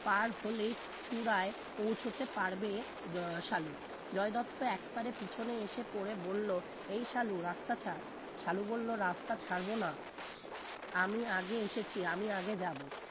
পার হলেই চুড়াই পৌছাতে পারবে আহ সালু জয় দত্ত একবারে পিছনে এসে পড়ে বলল এই সালু রাস্তা ছাড় সালু বলল রাস্তা ছাড়বো না আমি আগে এসেছি আমি আগে যাব